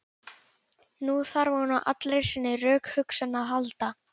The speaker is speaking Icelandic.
Nú þarf hún á allri sinni rökhugsun að halda.